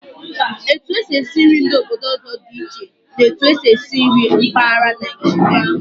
Etu e si esi nri ndị obodo ọzọ dị iche na'otu e si esi nri mpaghara Naijiria.